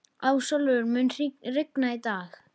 Ásólfur, mun rigna í dag?